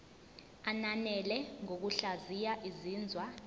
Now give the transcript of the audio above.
ananele ngokuhlaziya izinzwa